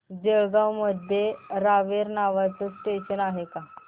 जळगाव मध्ये रावेर नावाचं स्टेशन आहे का